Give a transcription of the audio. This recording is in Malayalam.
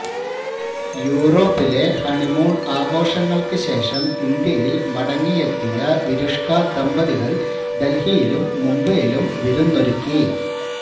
യൂറോപ്പിലെ ഹണിമൂൺ ആഘോഷങ്ങൾക്കുശേഷം ഇന്ത്യയിൽ മടങ്ങിയെത്തിയ വിരുഷ്ക ദമ്പതികൾ ഡൽഹിയിലും മുംബൈയിലും വിരുന്നൊരുക്കി